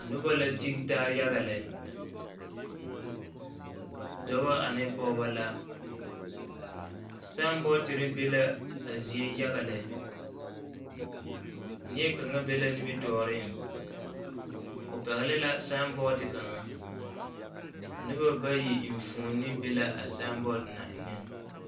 Noba la tige taa yaga lɛ dɔba ane pɔgeba la saambɔɔtire be la a zie yaga lɛ neɛ kaŋ be la nimitɔɔreŋ o pɛgle la saambɔɔte kaŋa noba bayi eŋfuoni be la a saambɔɔte na eŋɛŋ.